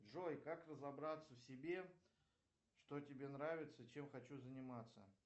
джой как разобраться в себе что тебе нравится чем хочу заниматься